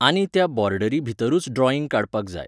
आनी त्या बॉर्डरी भितरूच ड्रॉईंग काडपाक जाय.